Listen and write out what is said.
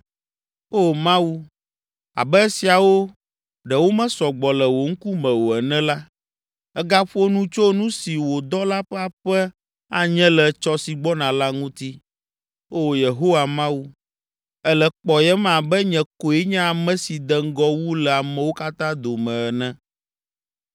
Oo Mawu, abe esiawo ɖe womesɔ gbɔ le wò ŋkume o ene la, ègaƒo nu tso nu si wò dɔla ƒe aƒe anye le etsɔ si gbɔna la ŋuti. Oo Yehowa Mawu, èle kpɔyem abe nye koe nye ame si de ŋgɔ wu le amewo katã dome ene.